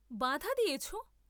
বাঁধা দিয়েছ?